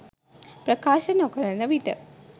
ප්‍රකාශ නොකරන විට